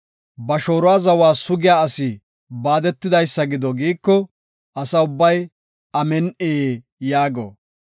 “Ba shooruwa zawa sugiya asi baadetidaysa gido” giiko, Asa ubbay, “Amin7i” yaago.